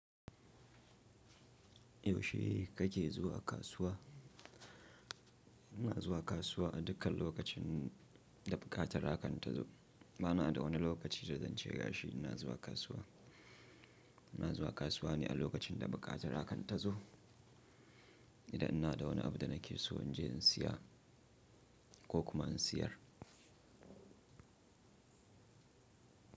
Yaushe kake zuwa kasuwa? Ina zuwa kasuwa a dukkan lokacin da buƙata hakanta zo. Bana da wani lokaci da zan ce gashi ina zuwa kasuwa. Ina zuwa kasuwa ne a lokacin da buƙata hakanta zo. Idan ina da wani abu da nake so in je in siya ko kuma in siyar.